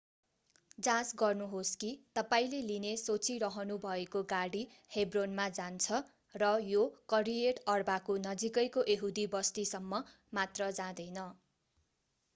जाँच गर्नुहोस् कि तपाईंले लिने सोचिरहनुभएको गाडी हेब्रोनमा जान्छ र यो करियट अर्बाको नजिकैको यहुदी बस्तीसम्म मात्र जाँदैन